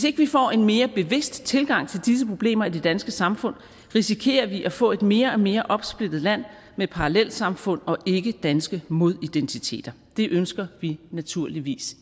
ikke får en mere bevidst tilgang til disse problemer i det danske samfund risikerer vi at få et mere og mere opsplittet land med parallelsamfund og ikkedanske modidentiteter det ønsker vi naturligvis